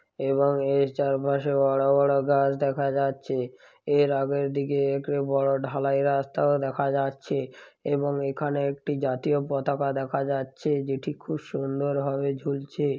এবং এর চারপাশে বড় বড় গাছ দেখা যাচ্ছে। এর আগের দিকে একড়ে বড় ঢালাই রাস্তাও দেখা যাচ্ছে। এবং এখানে একটি জাতীয় পতাকা দেখা যাচ্ছে যেটি খুব সুন্দর ভাবে ঝুলছে।